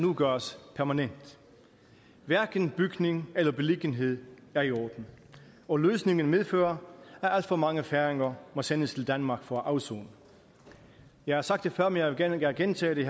gøres permanent hverken bygning eller beliggenhed er i orden og løsningen medfører at alt for mange færinger må sendes til danmark for at afsone jeg har sagt det før men jeg vil gerne gentage det